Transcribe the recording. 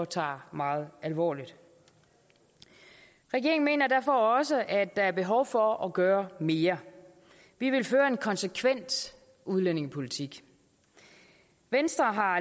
tager meget alvorligt regeringen mener derfor også at der er behov for at gøre mere vi vil føre en konsekvent udlændingepolitik venstre har